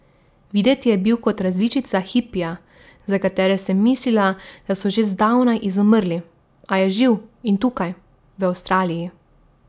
Videti je bil kot različica hipija, za katere sem mislila, da so že zdavnaj izumrli, a je živ in tukaj, v Avstraliji.